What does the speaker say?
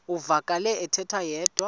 uvakele ethetha yedwa